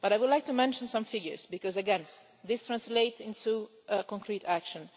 I would like to mention some figures because, again, these translate into concrete action.